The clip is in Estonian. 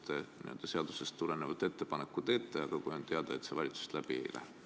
Te teeksite seadusest tulenevalt ettepaneku, aga on ette teada, et see valitsuses läbi ei lähe.